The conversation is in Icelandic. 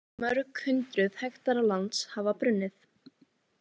Mörg hundruð hektarar lands hafa brunnið